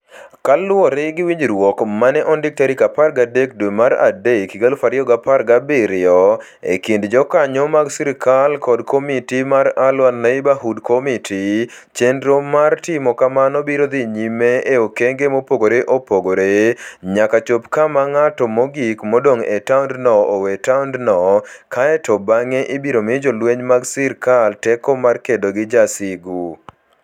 Kaluwore gi winjruok ma ne ondik tarik 13 dwe mar adek, 2017, e kind jokanyo mag sirkal kod Komiti mar Al-Waer Neighborhood Committee, chenro mar timo kamano biro dhi nyime e okenge mopogore opogore, nyaka chop kama ng'at mogik modong ' e taondno owe taondno, kae to bang'e ibiro mi jolweny mag sirkal teko mar kedo gi jowasigu.